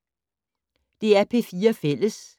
DR P4 Fælles